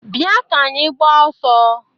Bịa ka anyị gbaa ọsọ!